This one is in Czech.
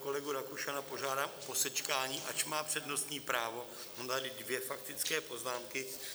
Kolegu Rakušana požádám o posečkání, ač má přednostní právo, mám tady dvě faktické poznámky.